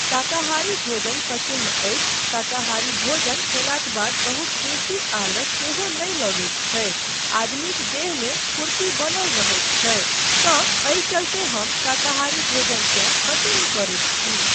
शाकाहारी भोजन पसिन्न अछि, शाकाहारी भोजन खयलाक बाद बहुत बेसी आलस सेहो नहि लगैत छै, आदमीक देहमे फ़ुर्ती बनल रहैत छै तँ एहि चलते हम शाकाहारी भोजनकेँ पसिन्न करैत छी।